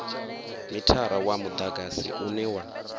mithara wa mudagasi une wa